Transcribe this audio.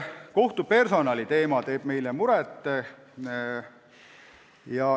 Kohtupersonali teema teeb meile muret.